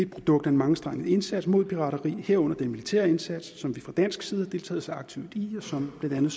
produkt af en mangestrenget indsat mod pirateri herunder den militære indsats som vi fra dansk side har deltaget så aktivt i og som blandt andet